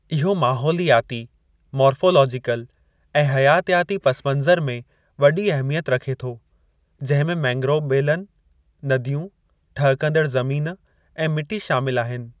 इहो माहौलियाती, मोरफ़ोलोजीकल ऐं हयातयाती पसिमंज़र में वॾी अहमियत रखे थो, जंहिं में मैंग्रोव ॿेलनि, नदियूं, ठहकंदड़ ज़मीन ऐं मिटी शामिलु आहिनि।